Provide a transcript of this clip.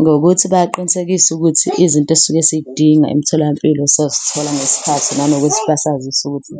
Ngokuthi bayaqinisekisa ukuthi izinto esisuke sidinga emitholampilo sozithola ngesikhathi nanokuthi basazise ukuthi